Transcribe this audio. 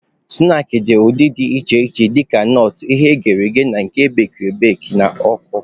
Snaakị dị n'ụdị dị iche iche dịka nọọt, ihe eghere eghe na nke ebekiri ebeki n'ọkụ.